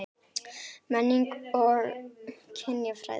MENNING OG KYNJAFRÆÐI